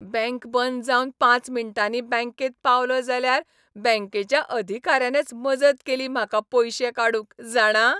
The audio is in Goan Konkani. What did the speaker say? बँक बंद जावन पांच मिण्टांनी बँकेंत पावलों जाल्यार बँकेच्या अधिकाऱ्यानच मजत केली म्हाका पयशे काडूंक, जाणा!